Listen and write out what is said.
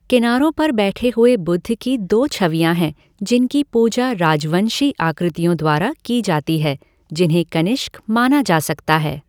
किनारों पर बैठे हुए बुद्ध की दो छवियाँ हैं जिनकी पूजा राजवंशी आकृतियों द्वारा की जाती है, जिन्हें कनिष्क माना जा सकता है।